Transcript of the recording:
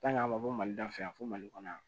an ma bɔ mali la fɛ yan fo mali kɔnɔ yan